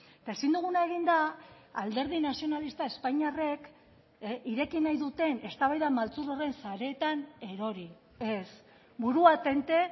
eta ezin duguna egin da alderdi nazionalista espainiarrek ireki nahi duten eztabaida maltzur horren sareetan erori ez burua tente